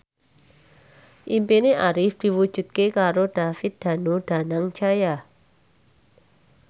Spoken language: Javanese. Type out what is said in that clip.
impine Arif diwujudke karo David Danu Danangjaya